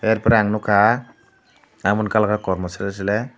er pore ang nukha amoni colour khe kormo sle sle.